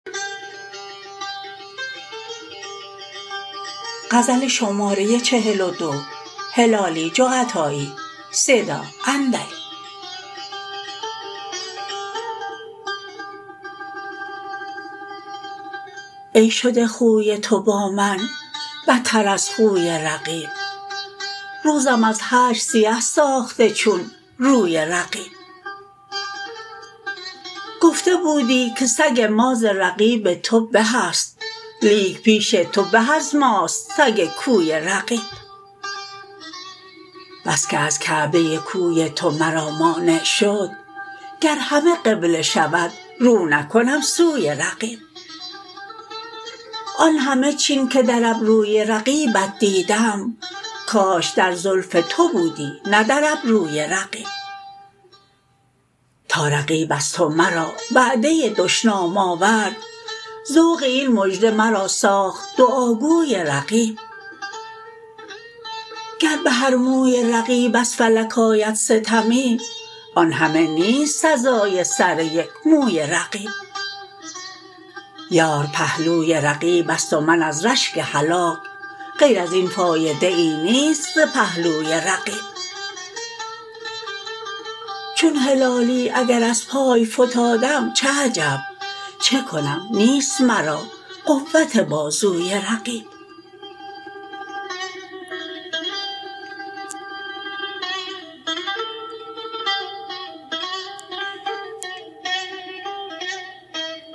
ای شده خوی تو با من بتر از خوی رقیب روزم از هجر سیه ساخته چون روی رقیب گفته بودی که سگ ما ز رقیب تو بهست لیک پیش تو به از ماست سگ کوی رقیب بسکه از کعبه کوی تو مرا مانع شد گر همه قبله شود رو نکنم سوی رقیب آن همه چین که در ابروی رقیبت دیدم کاش در زلف تو بودی نه در ابروی رقیب تا رقیب از تو مرا وعده دشنام آورد ذوق این مژده مرا ساخت دعاگوی رقیب گر بهر موی رقیب از فلک آید ستمی آن همه نیست سزای سر یک موی رقیب یار پهلوی رقیبست و من از رشک هلاک غیر ازین فایده ای نیست ز پهلوی رقیب چون هلالی اگر از پای فتادم چه عجب چه کنم نیست مرا قوت بازوی رقیب